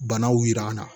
Banaw yira an na